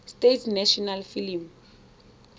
states national film